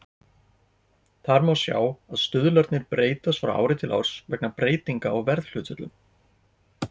Þar má sjá að stuðlarnir breytast frá ári til árs vegna breytinga á verðhlutföllum.